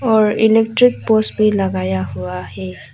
और electric post भी लगाया हुआ है।